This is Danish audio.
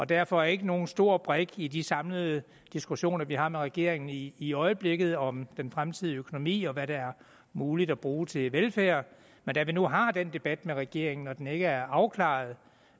derfor ikke nogen stor brik i de samlede diskussioner vi har med regeringen i i øjeblikket om den fremtidige økonomi og hvad der er muligt at bruge til velfærd men da vi nu har den debat med regeringen og den ikke er afklaret